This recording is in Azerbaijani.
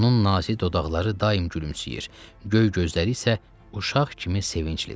Onun nazik dodaqları daim gülümsəyir, göy gözləri isə uşaq kimi sevinclidir.